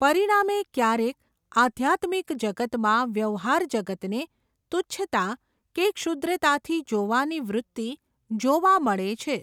પરિણામે ક્યારેક આઘ્યાત્મિક જગતમાં, વ્યવહાર જગતને તુચ્છતા કે ક્ષૂદ્રતાથી જોવાની વૃત્તિ, જોવા મળે છે.